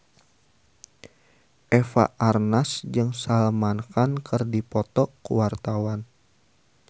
Eva Arnaz jeung Salman Khan keur dipoto ku wartawan